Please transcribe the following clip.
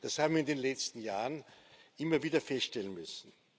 Das haben wir in den letzten Jahren immer wieder feststellen müssen.